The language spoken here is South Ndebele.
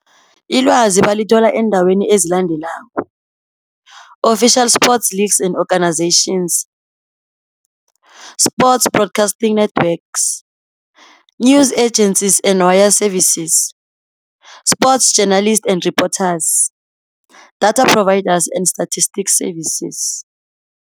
Ilwazi balithola eendaweni ezilandelako, Official sports leagues and organizations, Sports broadcasting networks, News agencies and wire services, Sports journalists and reporters, Data providers and Statistics services.